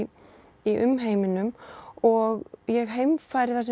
í umheiminum og ég heimfæri það